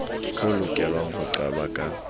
ho lokelwang ho qalwa ka